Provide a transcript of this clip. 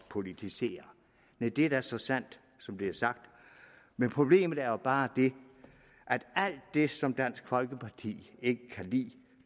politisere næh det er da så sandt som det er sagt men problemet er jo bare at alt det som dansk folkeparti ikke kan lide